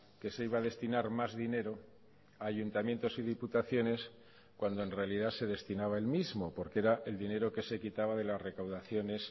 que se iba a destinar más dinero a ayuntamientos y diputaciones cuando en realidad se destinaba el mismo porque era el dinero que se quitaba de las recaudaciones